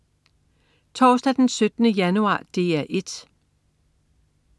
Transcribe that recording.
Torsdag den 17. januar - DR 1: